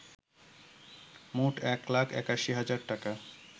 মোট ১ লাখ ৮১ হাজার টাকা